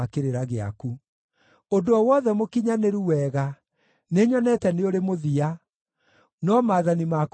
Ũndũ o wothe mũkinyanĩru wega, nĩnyonete nĩ ũrĩ mũthia; no maathani maku matirĩ mũhaka.